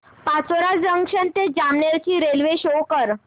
Pachora junction ते जामनेर ची railway show कर